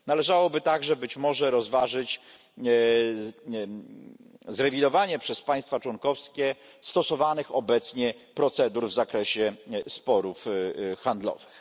Należałoby także być może rozważyć zrewidowanie przez państwa członkowskie stosowanych obecnie procedur w zakresie sporów handlowych.